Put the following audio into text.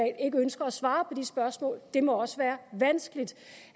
ikke ønsker at svare på de spørgsmål det må også være vanskeligt